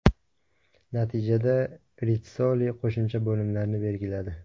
Natijada Ritssoli qo‘shimcha bo‘limlarni belgiladi.